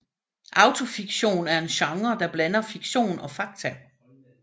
Autofiktion er en genre der blander fiktion og fakta